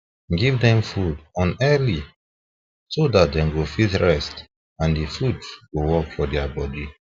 give them food on early so that them fit rest and the food go work for their body